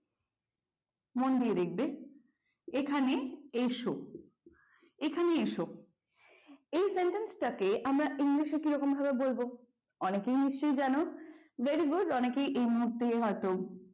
মন দিয়ে দেখবে, এখানে এসো, এখানে এসো এই sentence টা কে আমরা english এ কিরকম ভাবে বলবো অনেকেই নিশ্চয়ই জানো very good অনেকেই এই মুহূর্তে হয়তো,